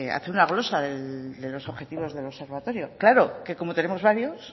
hace una glosa de los objetivos del observatorio claro que como tenemos varios